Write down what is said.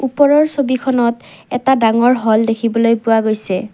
ওপৰৰ ছবিখনত এটা ডাঙৰ হল দেখিবলৈ পোৱা গৈছে।